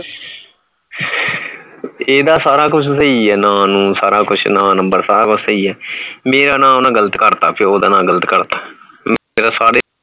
ਇਹਦਾ ਸਾਰਾ ਕੁਛ ਸਹੀ ਹੈ ਨਾਂ ਨੂੰ ਸਾਰਾ ਕੁਛ ਨਾਂ number ਸਾਰਾ ਕੁਛ ਸਹੀ ਹੈ ਮੇਰਾ ਨਾਂ ਓਹਨੇ ਕਰਤਾ ਪਿਓ ਦਾ ਨਾਂ ਗਲਤ ਕਰਤਾ